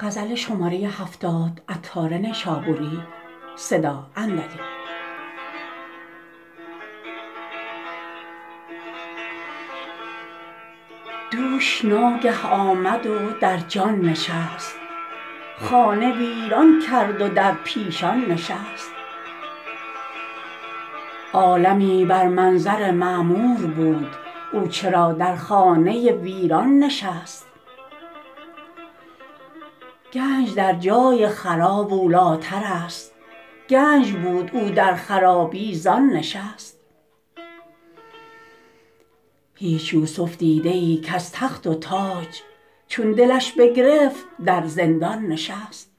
دوش ناگه آمد و در جان نشست خانه ویران کرد و در پیشان نشست عالمی بر منظر معمور بود او چرا در خانه ویران نشست گنج در جای خراب اولی تر است گنج بود او در خرابی زان نشست هیچ یوسف دیده ای کز تخت و تاج چون دلش بگرفت در زندان نشست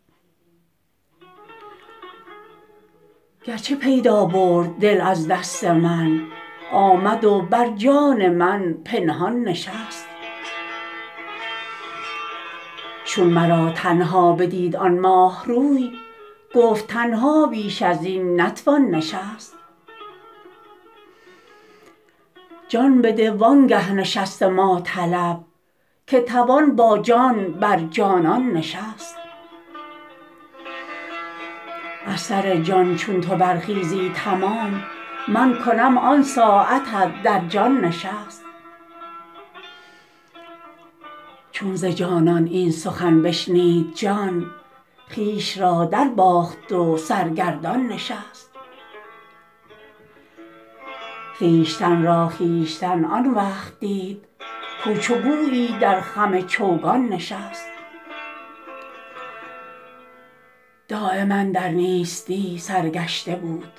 گرچه پیدا برد دل از دست من آمد و بر جان من پنهان نشست چون مرا تنها بدید آن ماه روی گفت تنها بیش ازین نتوان نشست جان بده وانگه نشست ما طلب کی توان با جان بر جانان نشست از سر جان چون تو برخیزی تمام من کنم آن ساعتت در جان نشست چون ز جانان این سخن بشنید جان خویش را درباخت و سرگردان نشست خویشتن را خویشتن آن وقت دید کاو چو گویی در خم چوگان نشست دایما در نیستی سرگشته بود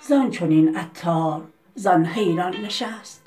زان چنین عطار زان حیران نشست